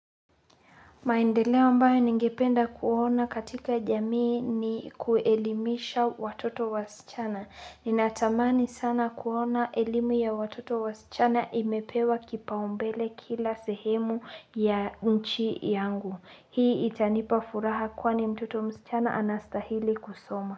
Maendeleo ambayo ningependa kuona katika jamii ni kuelimisha watoto wasichana. Ninatamani sana kuona elimu ya watoto wasichana imepewa kipaumbele kila sehemu ya nchi yangu. Hii itanipa furaha kwani mtoto msichana anastahili kusoma.